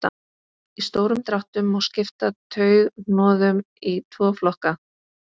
í stórum dráttum má skipta taugahnoðum í tvo flokka